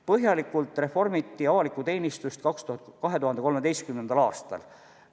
Põhjalikult reformiti avalikku teenistust 2013. aastal.